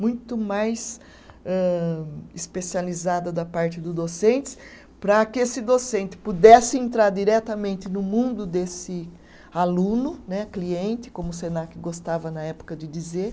muito mais âh, especializada da parte do docentes, para que esse docente pudesse entrar diretamente no mundo desse aluno né, cliente, como o Senac gostava na época de dizer.